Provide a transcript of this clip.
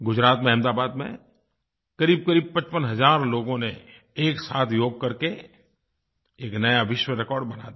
गुजरात में अहमदाबाद में क़रीबक़रीब 55 हज़ार लोगों ने एक साथ योग करके एक नया विश्व रिकॉर्ड बना दिया